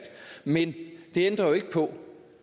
men det ændrer jo ikke på